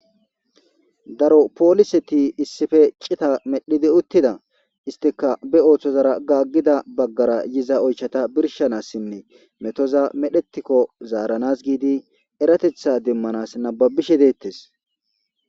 Daro pooliseti issife cita medhidi uttida istika be ooththozara gaaggida baggara yiza oychata birshanassinne metoza medhetikko zaaranas giidi eratetha demmanas nababishe deettes.